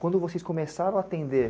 Quando vocês começaram a atender